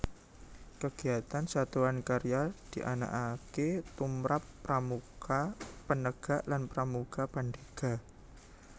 Kegiatan Satuan Karya dianakake tumrap Pramuka Penegak lan Pramuka Pandega